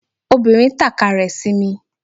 Obìnrin tàka rẹ̀ sí mi